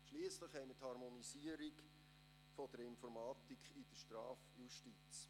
Schliesslich haben wir die Harmonisierung der Informatik in der Strafjustiz.